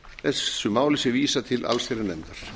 þessu máli sé vísað til allsherjarnefndar